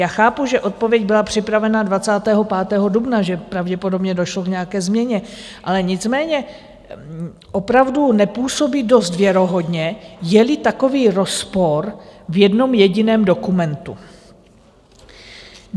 Já chápu, že odpověď byla připravena 25. dubna, že pravděpodobně došlo k nějaké změně, nicméně opravdu nepůsobí dost věrohodně, je-li takový rozpor v jednom jediném dokumentu.